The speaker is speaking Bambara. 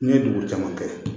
N ye dugu caman kɛ